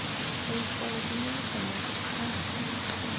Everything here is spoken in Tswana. hei tsala dinyemisa moko kgang